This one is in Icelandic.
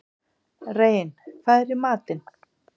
Rein, hvað er í matinn?